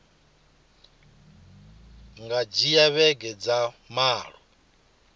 nga dzhia vhege dza malo